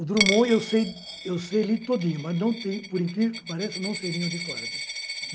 O Drummond, eu sei ele todo, mas, por incrível que pareça, não sei nem onde corre.